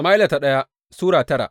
daya Sama’ila Sura tara